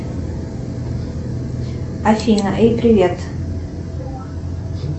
афина эй привет